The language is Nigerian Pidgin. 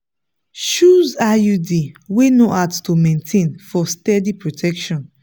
choose iud wey no hard to maintain for steady protection.